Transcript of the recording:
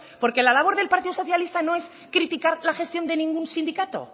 porque la labor del partido socialista no es criticar la gestión de ningún sindicato